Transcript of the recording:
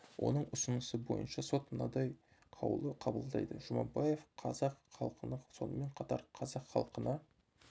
оның ұсынысы бойынша сот мынадай қаулы қабылдайды жұмабаев қазақ халқының сонымен қатар қазақ халқына